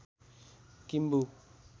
Kimbu